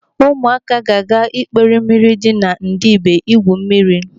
Ụmụaka ga-aga ikpere mmiri dị na Ndibe igwu mmiri.